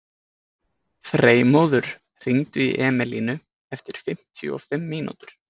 Freymóður, hringdu í Emelínu eftir fimmtíu og fimm mínútur.